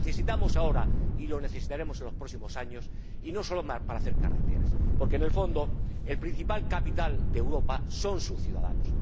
Lo necesitamos ahora y lo necesitaremos en los próximos años, y no solo para hacer carreteras, porque, en el fondo, el principal capital de Europa son sus ciudadanos